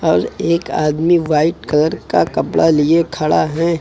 और एक आदमी व्हाइट कलर का कपड़ा लिए खड़ा है।